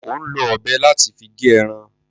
Ò ń lo ọ̀bẹ láti fi gé ẹran.